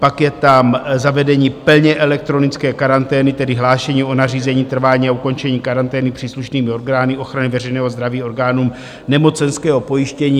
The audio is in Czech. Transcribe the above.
Pak je tam zavedení plně elektronické karantény, tedy hlášení o nařízení, trvání a ukončení karantény příslušnými orgány ochrany veřejného zdraví orgánům nemocenského pojištění.